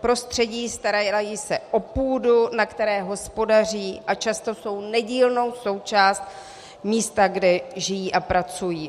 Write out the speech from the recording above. prostředí, starají se o půdu, na které hospodaří, a často jsou nedílnou součástí místa, kde žijí a pracují.